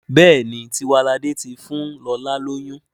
Béèni Tiwalade tí fún lọla lóyún..